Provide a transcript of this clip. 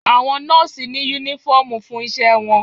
Àwọn nọ́ọ́sì ní únífọ̀omù fún iṣẹ wọn